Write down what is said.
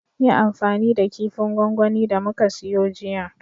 Yi amfani da kifin gwangwani da muka siyo jiya